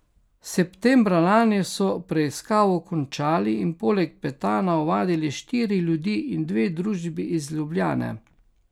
Septembra lani so preiskavo končali in poleg Petana ovadili štiri ljudi in dve družbi iz Ljubljane.